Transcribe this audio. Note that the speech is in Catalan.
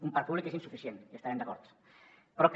un parc públic que és insuficient hi devem estar d’acord però que